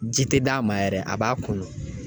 Ji tɛ d'a ma yɛrɛ a b'a kunun.